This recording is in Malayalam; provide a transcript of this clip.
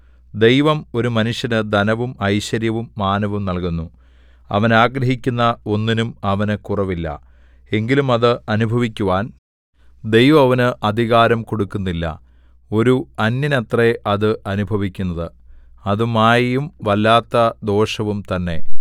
ദൈവം ഒരു മനുഷ്യന് ധനവും ഐശ്വര്യവും മാനവും നല്കുന്നു അവൻ ആഗ്രഹിക്കുന്ന ഒന്നിനും അവന് കുറവില്ല എങ്കിലും അത് അനുഭവിക്കുവാൻ ദൈവം അവന് അധികാരം കൊടുക്കുന്നില്ല ഒരു അന്യനത്രേ അത് അനുഭവിക്കുന്നത് അത് മായയും വല്ലാത്ത ദോഷവും തന്നെ